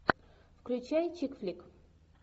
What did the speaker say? включай чик флик